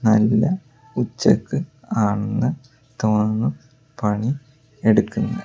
നല്ല ഉച്ചക്ക് ആണെന്ന് തോന്നുന്നു പണി എടുക്കുന്നെ.